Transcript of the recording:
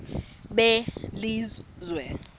belizwe